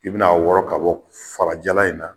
I bɛn'a wɔrɔ ka bɔ farajalan in na